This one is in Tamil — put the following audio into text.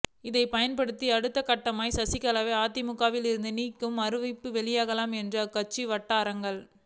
இதை பயன்படுத்தி அடுத்த கட்டமாக சசிகலாவை அதிமுகவில் இருந்தும் நீக்கும் அறிவிப்பு வெளியாகலாம் என்கின்றன அக்கட்சி வட்டாரங்கள்